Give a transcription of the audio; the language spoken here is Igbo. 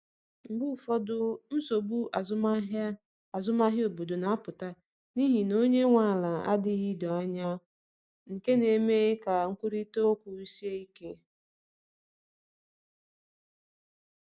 Mgbe ụfọdụ, nsogbu azụmahịa azụmahịa obodo na-apụta n’ihi na onye nwe ala adịghị doo anya, nke na-eme ka nkwurịta okwu sie ike.